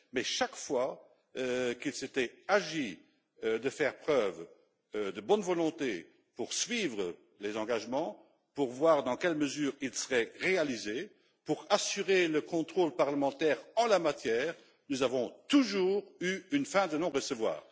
En effet, chaque fois qu'il s'est agi de faire preuve de bonne volonté pour suivre les engagements, pour voir dans quelle mesure ils seront réalisés, pour assurer le contrôle parlementaire en la matière, nous avons toujours eu une fin de non recevoir.